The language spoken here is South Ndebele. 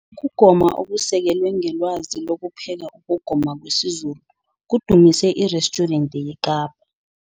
Ukugoma Okusekelwe Ngelwazi Lokupheka Ukugoma kwesiZulu Kudumise Irestjurente yeKapa